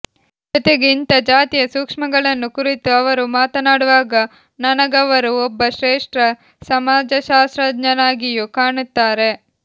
ಜೊತೆಗೆ ಇಂಥಾ ಜಾತಿಯ ಸೂಕ್ಷ್ಮಗಳನ್ನು ಕುರಿತು ಅವರು ಮಾತನಾಡುವಾಗ ನನಗವರು ಒಬ್ಬ ಶ್ರೇಷ್ಟ ಸಮಾಜಶಾಸ್ತ್ರಜ್ಞನಾಗಿಯೂ ಕಾಣುತ್ತಾರೆ